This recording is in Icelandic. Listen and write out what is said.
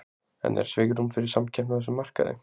En er svigrúm fyrir samkeppni á þessum markaði?